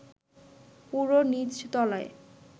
পুরো নিচতলায়